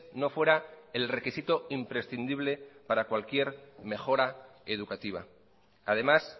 no fuera el requisito imprescindible para cualquier mejora educativa además